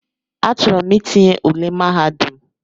Achọrọ m itinye ụle mahadum.